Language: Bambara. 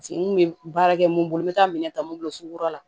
Se n kun bɛ baara kɛ mun bolo n bɛ taa minɛn ta mun bolo sugu la